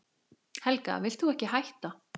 Helga: Vilt þú ekki hætta?